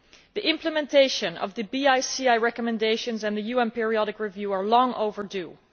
The implementation of the BICI recommendations and the UN Periodic Review are long overdue.